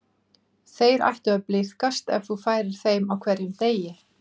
Þeir ættu að blíðkast ef þú færir þeim á hverjum degi.